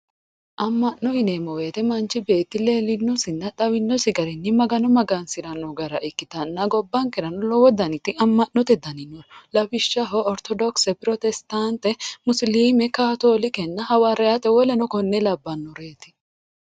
Ama'no yineemmo woyte manchi beetti leelinosinna xawinosi garinni Magano magansirano gara ikkittanna gobbankerano lowo daniti ama'note dani no lawishshaho orthodokise pirositate musilime katolike hawariyate woleno konne labbanoreti.